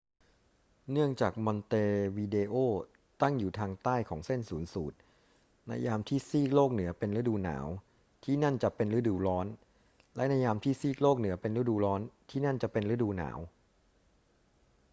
เนื่องจากมอนเตวิเดโอตั้งอยู่ทางใต้ของเส้นศูนย์สูตร ในยามที่ซีกโลกเหนือเป็นฤดูหนาว ที่นั่นจะเป็นฤดูร้อน และในยามที่ซีกโลกเหนือเป็นฤดูร้อน ที่นั่นจะเป็นฤดูหนาว